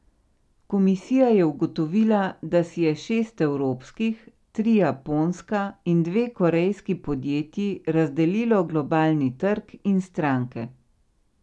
Komisija je ugotovila, da si je šest evropskih, tri japonska in dve korejski podjetji razdelilo globalni trg in stranke.